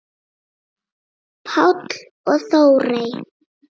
Páll og Þórey.